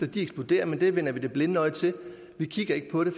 de eksploderer men det vender vi det blinde øje til vi kigger ikke på det